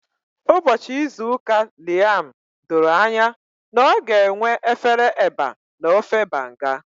Ụbọchị izu ụka Liam doro anya na ọ ga-enwe efere eba na ofe Banga.